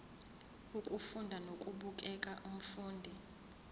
ukufunda nokubukela umfundi